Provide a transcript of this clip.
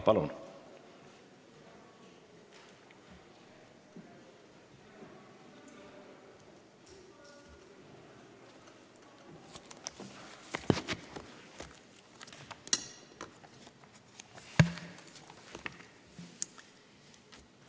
Palun!